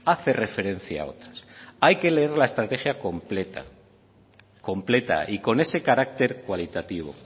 hace referencia a otras hay que leer la estrategia completa completa y con ese carácter cualitativo